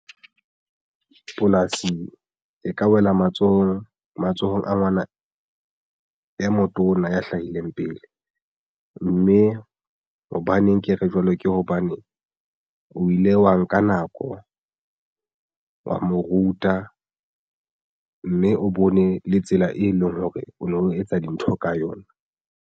Polasing e ka wela matsohong a ngwana e motona ya hlahileng pele mme hobaneng ke re jwalo ke hobane o ile wa nka nako wa mo ruta mme o bone le tsela e leng hore o no etsa dintho ka yona.